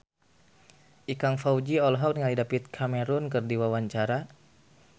Ikang Fawzi olohok ningali David Cameron keur diwawancara